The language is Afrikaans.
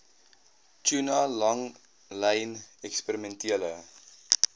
tuna langlyn eksperimentele